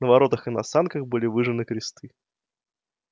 на воротах и на санках были выжжены кресты